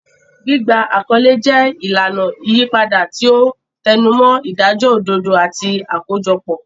Gbígba àkọlé jẹ́ ìlànà ìyípadà, tí ó tẹnumọ́ ìdájọ́ òdodo àti àkójọpọ̀.